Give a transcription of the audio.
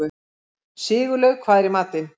Sigurlaug, hvað er í matinn?